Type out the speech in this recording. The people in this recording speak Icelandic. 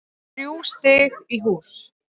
Þrjú stig í hús